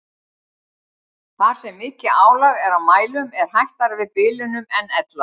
Þar sem mikið álag er á mælum er hættara við bilunum en ella.